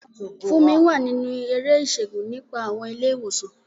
Funmi wà nínú eré ìṣègùn nípa àwọn ilé ìwòsàn.